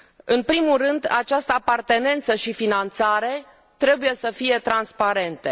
În primul rând, această apartenență și finanțare trebuie să fie transparente.